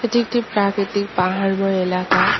এটি একটি প্রাকৃতিক পাহাড়ময় এলাকা।